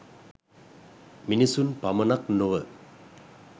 මිනිසුන් පමණක් නොව